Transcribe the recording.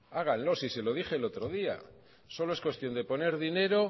háganlo si se lo dije el otro día solo es cuestión de poner dinero